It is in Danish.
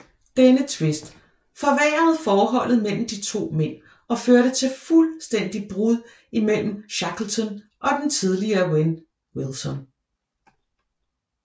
Denne tvist forværrede forholdet mellem de to mænd og førte til fuldstændig brud mellom Shackleton og den tidligere ven Wilson